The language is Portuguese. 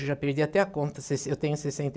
Eu já perdi até a conta. Sesse eu tenho sessenta e